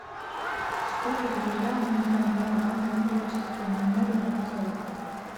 что повлияло на формирование творческой манеры рубцова